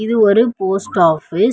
இது ஒரு post office .